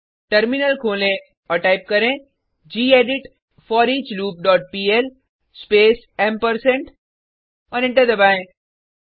terminal खोलें और type करें gedit foreachloop dot PL space ampersand और एंटर दबाएँ